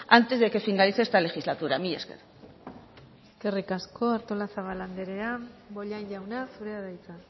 antes de que finalice esta legislatura mila esker eskerrik asko artolazabal andrea bollain jauna zurea da hitza